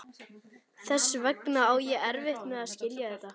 Þess vegna á ég erfitt með að skilja þetta.